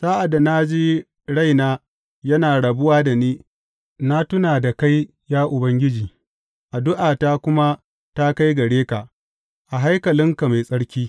Sa’ad da na ji raina yana rabuwa da ni, na tuna da kai ya Ubangiji, addu’ata kuma ta kai gare ka, a haikalinka mai tsarki.